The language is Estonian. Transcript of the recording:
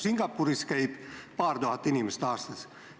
Singapuris käib paar tuhat inimest aastas.